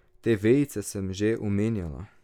Te vejice sem že omenjala.